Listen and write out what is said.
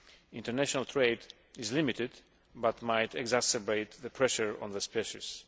International trade is limited but might exacerbate the pressure on the species.